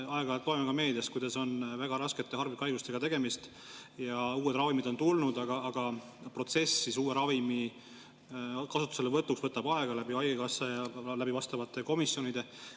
Me aeg-ajalt loeme meediast, kuidas on väga raskete harvikhaigustega tegemist ja uued ravimid on tulnud, aga uue ravimi kasutusele võtmise protsess võtab aega haigekassas ja ka vastavates komisjonides.